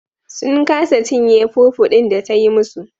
Sun kasa cinye fufu din da ta yi musu.